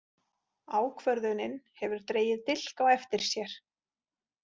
Ákvörðunin hefur dregið dilk á eftir sér.